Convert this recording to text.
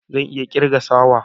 Zan iya kirga sawa